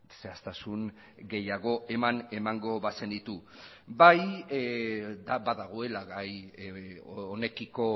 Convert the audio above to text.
zehaztasun gehiago eman emango bazenitu bai badagoela gai honekiko